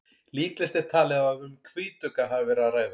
líklegast er talið að um hvítugga hafi verið að ræða